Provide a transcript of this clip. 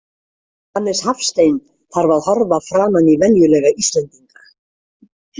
Hannes Hafstein þarf að horfa framan í venjulega Íslendinga.